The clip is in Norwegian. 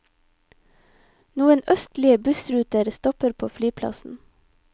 Noen østlige bussruter stopper på flyplassen.